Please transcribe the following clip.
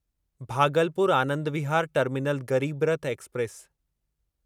Bhagalpur Anand Vihar terminal Garib Rath express